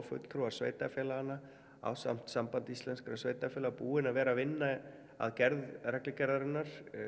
fulltrúar sveitarfélaganna ásamt Sambandi íslenskra sveitarfélaga búin að vera að vinna að gerð reglugerðarinnar